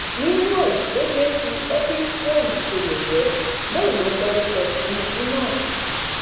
nínú ẹ bó ṣe ń fi epismhole ṣe yẹyẹ bẹẹ ló ń dárúkọ tinubu náà